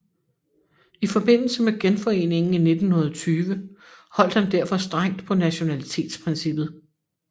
I forbindelse med Genforeningen i 1920 holdt han derfor strengt på nationalitetsprincippet